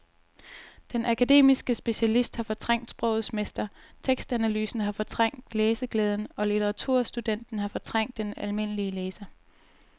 Den akademiske specialist har fortrængt sprogets mester, tekstanalysen har fortrængt læseglæden og litteraturstudenten har fortrængt den almindelige læser.